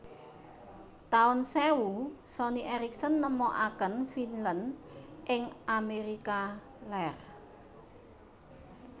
Taun sewu Sony Ericsson nemokaken Vinland ing Amérika Lèr